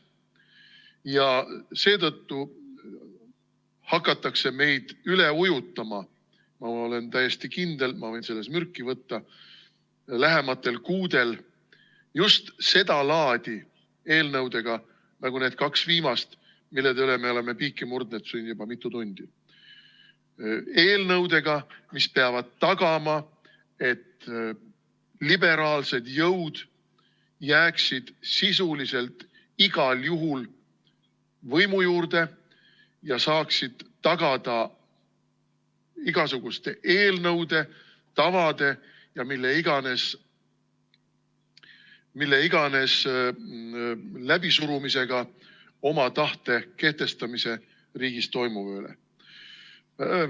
Ja seetõttu hakatakse meid üle ujutama – ma olen täiesti kindel, ma võin selle peale mürki võtta – lähematel kuudel just sedalaadi eelnõudega nagu need kaks viimast, mille pärast me oleme piike murdnud siin juba mitu tundi, eelnõudega, mis peaksid tagama, et liberaalsed jõud jääksid sisuliselt igal juhul võimu juurde ja saaksid tagada igasuguste eelnõude, tavade ja ükskõik mille läbisurumisega oma tahte kehtestamise riigis toimuva üle.